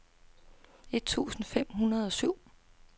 et tusind fem hundrede og syv